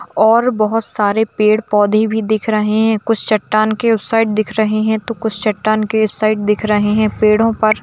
और बहुत सारे पेड़ पोदहे भी दिख रहे है कुछ चट्टान के उस साइड दिख रहे है तो कुछ चट्टान के इस साइड दिख रहे है पेड़ों पर--